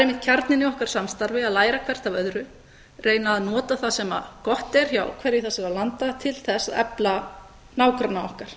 einmitt kjarninn í okkar samstarfi að læra hvert af öðru reyna að nota það sem gott er hjá hverju þessara landa til þess að efla nágranna okkar